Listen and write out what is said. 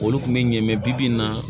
Olu kun bɛ ɲɛ bi-bi in na